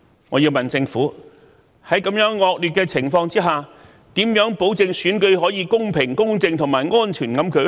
我要問政府，在這樣惡劣的情況下，如何保證選舉可公平、公正和安全地舉行？